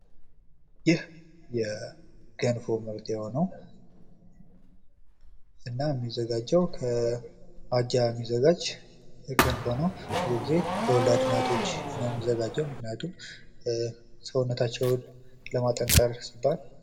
ይህ የጀንፎ ምርት የሆነው እና የሚዘጋጀው ከ አጃ የሚዘጋጅ ገንፎ ነው ።ብዙ ጊዜ ለወላድ እናቶች ነው የሚዘጋጀው ምክንያቱም ሰውነታቸውን ለማጠንከር ሲባል...